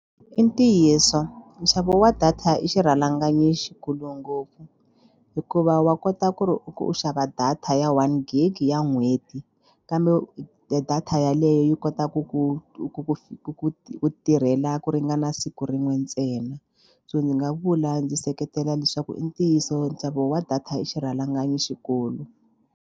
I ntiyiso nxavo wa data i xirhalanganyi xikulu ngopfu hikuva wa kota ku ri u xava data ya one gig ya n'hweti kambe u data yaleyo yi kota ku ku ku ku ku ku ku tirhela ku ringana siku rin'we ntsena so ndzi nga vula ndzi seketela leswaku i ntiyiso nxavo wa data i xirhalanganyi xikulu.